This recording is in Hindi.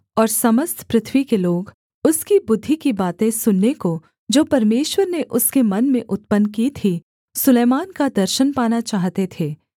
और समस्त पृथ्वी के लोग उसकी बुद्धि की बातें सुनने को जो परमेश्वर ने उसके मन में उत्पन्न की थीं सुलैमान का दर्शन पाना चाहते थे